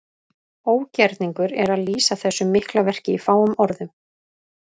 Ógerningur er að lýsa þessu mikla verki í fáum orðum.